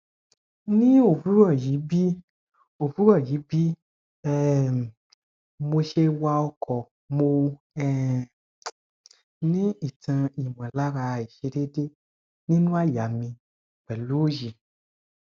ni owuroyi bi owuroyi bi um mose wa oko mo um ni itan imolara aisedede ninu aya mi pelu oyi